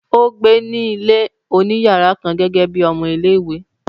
ó gbé ní ilé òní yàrá kan gẹ́gẹ́ bíi ọmọ-ilé-ìwé.